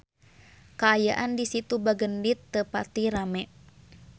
Kaayaan di Situ Bagendit teu pati rame